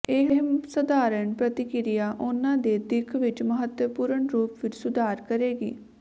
ਇਹ ਸਾਧਾਰਣ ਪ੍ਰਕਿਰਿਆ ਉਨ੍ਹਾਂ ਦੇ ਦਿੱਖ ਵਿੱਚ ਮਹੱਤਵਪੂਰਣ ਰੂਪ ਵਿੱਚ ਸੁਧਾਰ ਕਰੇਗੀ